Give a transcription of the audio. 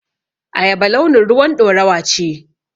Ayaba launin ruwan ɗorawa ce.